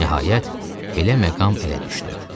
Nəhayət, belə məqam elə düşdü.